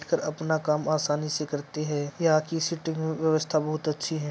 अपना काम आसानी से करते है यहाँ की सिटींग व्यवस्था बोहोत अच्छी है।